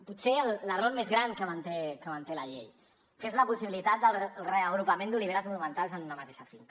potser l’error més gran que manté la llei que és la possibilitat del reagrupament d’oliveres monumentals en una mateixa finca